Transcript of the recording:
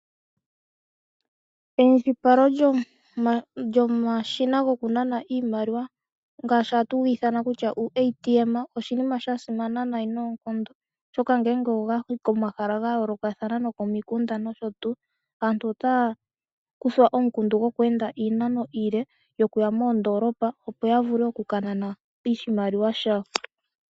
Eindjipalo lyomashina gokunana iimaliwa oshinima shasimana nayi noonkondo molwaashoka ngele gatulwa komahala gayoolokathana ngaashi komikunda nokoondoolopa noshotuu, aantu ohaya kuthwa omukundu goku enda iinano iile yokuya moondolopa opo yavule okunana iimaliwa yawo.